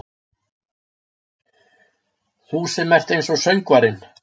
Þú sem ert einsog söngvarinn.